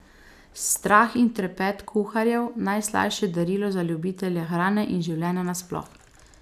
Strah in trepet kuharjev, najslajše darilo za ljubitelje hrane in življenja nasploh.